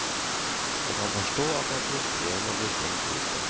Jeg kan forstå at det er frustrerende å bli stengt ute.